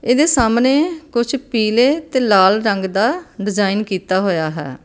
ਇਹਦੇ ਸਾਹਮਣੇ ਕੁਝ ਪੀਲੇ ਤੇ ਲਾਲ ਰੰਗ ਦਾ ਡਿਜ਼ਾਇਨ ਕੀਤਾ ਹੋਇਆ ਹੈ।